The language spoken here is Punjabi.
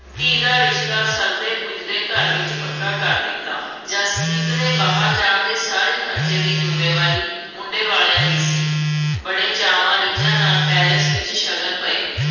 ਧੀ ਦਾ ਰਿਸ਼ਤਾ ਸਰਦੇ-ਪੁੱਜਦੇ ਘਰ ਵਿੱਚ ਪੱਕਾ ਕਰ ਦਿੱਤਾ। ਜਸਪ੍ਰੀਤ ਦੇ ਬਾਹਰ ਜਾਣ ਦੇ ਸਾਰੇ ਖਰਚੇ ਦੀ ਜ਼ਿੰਮੇਵਾਰੀ ਮੁੰਡੇ ਵਾਲਿਆ ਦੀ ਸੀ। ਬੜੇ ਚਾਵਾਂ-ਰੀਝਾਂ ਨਾਲ palace ਵਿੱਚ ਸ਼ਗਨ ਪਏ।